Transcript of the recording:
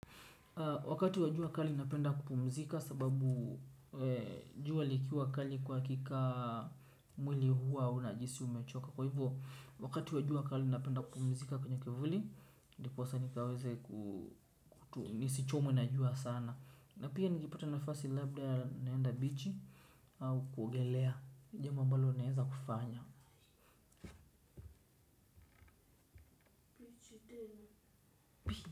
Wakati wa jua kali napenda kupumzika sababu jua likiwa kali kwa hakika mwili huwa unajihisi umechoka. Kwa hivyo wakati wa jua kali napenda kupumzika kwenye kivuli. Ndiposa nikaweze kutu, nisichomwe na jua sana. Na pia nikipata nafasi labda naenda bichi au kuogelea, jambo mbalo naeza kufanya.